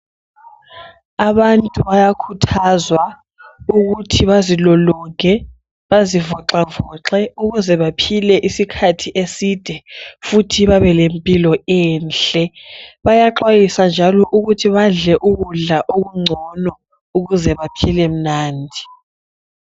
Abantu bayakhuthazwa ukuthi bazilolonge bazivoxavoxe ukuze baphile isikhathi eside futhi babelempilo enhle. Bayaxwayiswa njalo ukuthi badle ukudla okungcono ukuze baphile mnandi.